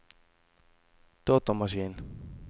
datamaskin